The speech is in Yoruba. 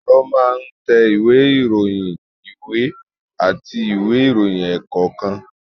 Ẹ̀rọ máa ń tẹ ìwé ìròyìn, ìwé àti ìwé ìròyìn ẹ̀kọ́ kan